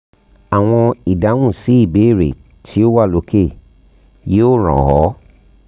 awọn idahun si ibeere ti o wa loke yoo ran ọ